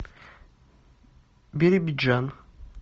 биробиджан